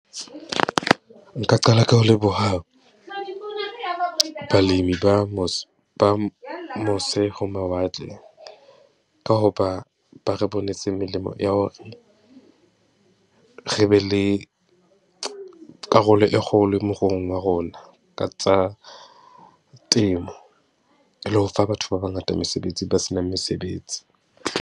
Nka qala ka ho leboha balemi ba ba mose ho mawatle ka ho ba ba re bonetse melemo ya ho, re be le karolo e kgolo moruong wa rona ka tsa temo. E le ho fa batho ba bangata mesebetsi, ba se nang mesebetsi.